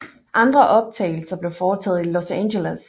Andre optagelse blev foretagt i Los Angeles